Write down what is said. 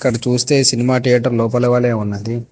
చూస్తే cinema theatre లోపల వలే ఉన్నది.